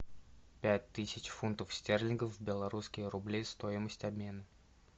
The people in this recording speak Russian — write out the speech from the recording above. пять тысяч фунтов стерлингов в белорусские рубли стоимость обмена